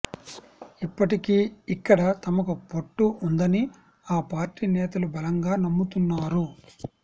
ఇప్పటికీ ఇక్కడ తమకు పట్టు ఉందని ఆ పార్టీ నేతలు బలంగా నమ్ముతున్నారు